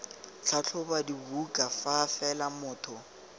tlhatlhoba dibuka fa fela motho